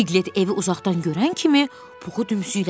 Piklət evi uzaqdan görən kimi Puxu dümsüklədi.